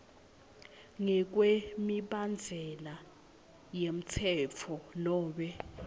ngekwemibandzela yemtsetfo nobe